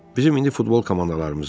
Bizim indi futbol komandalarımız var.